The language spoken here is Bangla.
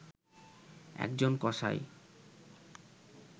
একজন কসাই